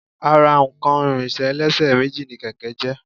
Ara nǹkan ìrìnsẹ̀ ẹlẹ́sẹ̀ méjì ni kẹ̀kẹ́ jẹ́